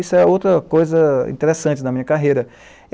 Isso é outra coisa interessante na minha carreira.